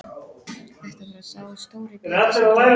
Þetta var sá stóri biti sem Þórður